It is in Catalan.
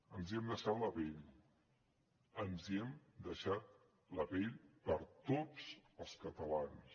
ens hi hem deixat la pell ens hi hem deixat la pell per tots els catalans